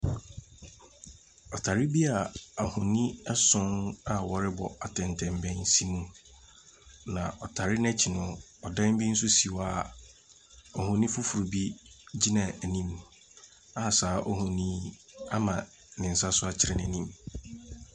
Ɔtare bi ahonin nson a wɔrebɔ atɛntɛbɛn si mu. Na ɔtari no akyi no, dan bi nso si hɔ a ohonin foforobi gyina anim a saa ohonin yi ama ne nsa so akyerɛ n'anim.